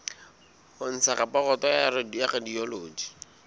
ho ntsha raporoto ya radiology